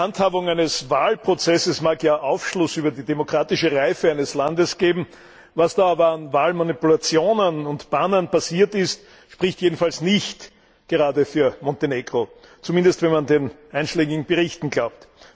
Die Handhabung eines Wahlprozesses mag ja Aufschluss über die demokratische Reife eines Landes geben. Was da aber an Wahlmanipulationen und Pannen passiert ist, spricht jedenfalls nicht gerade für Montenegro, zumindest wenn man den einschlägigen Berichten glaubt.